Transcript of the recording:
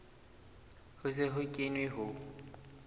ho se ho kenwe ho